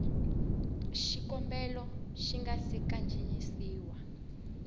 xikombelo xi nga si kandziyisiwa